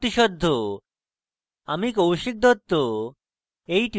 আমি কৌশিক দত্ত এই টিউটোরিয়ালটি অনুবাদ করেছি